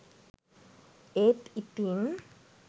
ඒත් ඉතින්